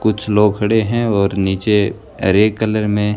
कुछ लोग खड़े हैं और नीचे हरे कलर में--